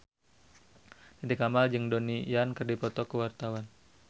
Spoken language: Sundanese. Titi Kamal jeung Donnie Yan keur dipoto ku wartawan